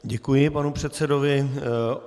Děkuji panu předsedovi.